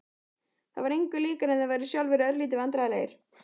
Það var engu líkara en þeir væru sjálfir örlítið vandræðalegir.